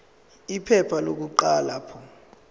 iphepha lokuqala p